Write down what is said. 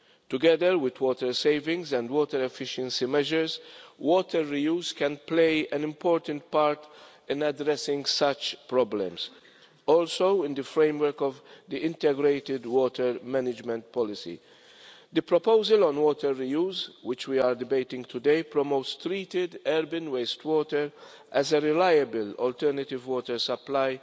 Together with water savings and water efficiency measures, water reuse can play an important part in addressing such problems, also, in the framework of the integrated water management policy. The proposal on water reuse, which we are debating today, promotes treated urban wastewater as a reliable alternative water supply